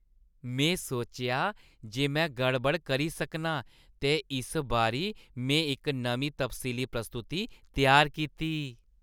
में सोचेआ जे में गड़बड़ करी सकनां ते इस बारी में इक नमीं तफसीली प्रस्तुति त्यार कीती।